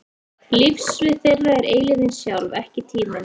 Lífssvið þeirra er eilífðin sjálf, ekki tíminn.